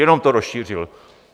Jenom to rozšířil.